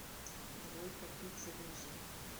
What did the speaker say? двойка пик загрузи